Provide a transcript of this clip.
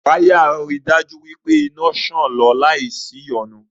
Wáyà ri dájú wí pé iná ń ṣàn lọ láì sí ìyọnu